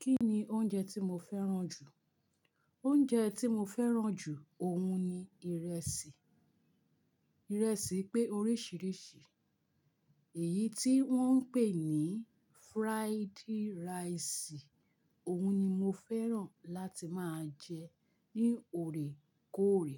Kí ni oúnjẹ tí mo fẹ́ràn jù? Oúnjẹ tí mo fẹ́ràn jù òhun ni ìrẹsì. Ìrẹsì pé oríṣiríṣi, èyí tí wọ́n ń pè ní fried rice, òhun ni mo fẹ́ràn láti máa jẹ ní oòrèkóòrè.